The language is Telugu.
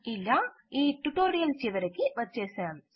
ఇలా ఈ ట్యుటోరియల్ చివరికి వచ్చేసాం